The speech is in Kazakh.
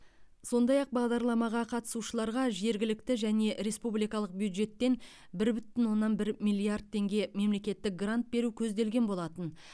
сондай ақ бағдарламаға қатысушыларға жергілікті және республикалық бюджеттен бір бүтін оннан бір миллиард теңге мемлекеттік грант беру көзделген болатын